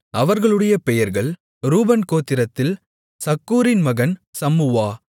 அவர்களுடைய பெயர்கள் ரூபன் கோத்திரத்தில் சக்கூரின் மகன் சம்முவா